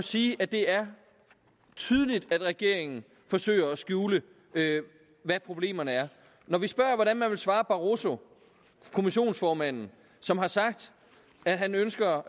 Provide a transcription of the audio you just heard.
sige at det er tydeligt at regeringen forsøger at skjule hvad problemerne er når vi spørger hvordan man vil svare barroso kommissionsformanden som har sagt at han ønsker